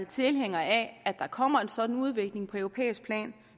tilhængere af at der kommer en sådan udvikling på europæisk plan